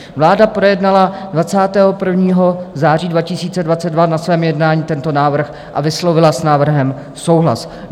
Vláda projednala 21. září 2022 na svém jednání tento návrh a vyslovila s návrhem souhlas.